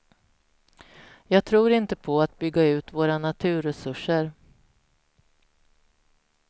Jag tror inte på att bygga ut våra naturresurser.